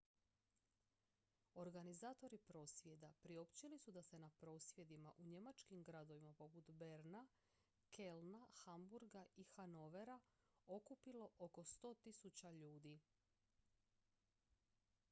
organizatori prosvjeda priopćili su da se na prosvjedima u njemačkim gradovima poput berlina kölna hamburga i hanovera okupilo oko 100.000 ljudi